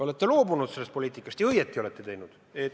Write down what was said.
Olete loobunud sellest poliitikast ja õigesti olete teinud.